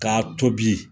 K'a tobi